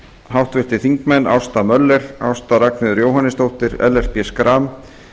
háttvirtir þingmenn ásta möller ásta r jóhannesdóttir ellert b schram